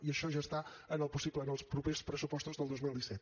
i això ja està en el possible en els propers pressupostos del dos mil disset